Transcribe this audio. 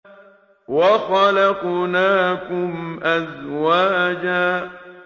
وَخَلَقْنَاكُمْ أَزْوَاجًا